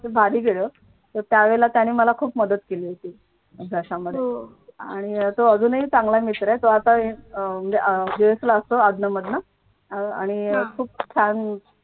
भारी गेलं तर त्यावेळी त्यांनी मला खूप मदत केली होती अभ्यासामध्ये आणि तो अजूनही खूप चांगला मित्र आहे तो आता अह म्हणजे अह US ला असतो अधन मधन आणि अह खूप छान